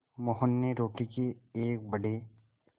मोहन ने रोटी के एक बड़े